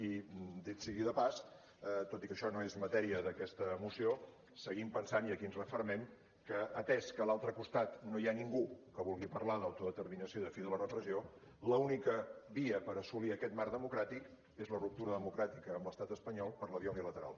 i dit sigui de pas tot i que això no és matèria d’aquesta moció seguim pensant i aquí ens refermem que atès que a l’altre costat no hi ha ningú que vulgui parlar d’autodeterminació i de fi de la repressió l’única via per assolir aquest marc demo·cràtic és la ruptura democràtica amb l’estat espanyol per la via unilateral